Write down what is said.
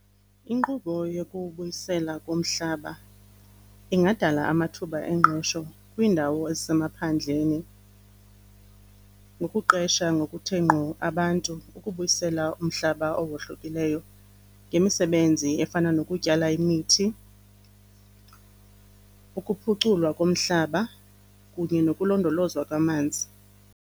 Inkqubo yokubuyisela komhlaba ingadala amathuba engqesho kwiindawo ezisemaphandleni ngokuqesha ngokuthe ngqo abantu ukubuyisela umhlaba owohlokileyo ngemisebenzi efana nokutyala imithi, ukuphuculwa komhlaba kunye nokulondolozwa kwamanzi.